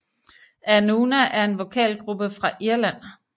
Anúna er en vokalgruppe fra Irland